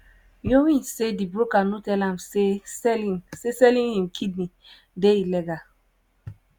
myo win say di broker no tell am say selling say selling im kidney dey illegal.